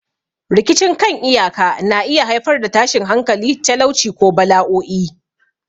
Rikicin kan iyaka na iya haifar da tashin hankali, talauci, ko bala'o'i.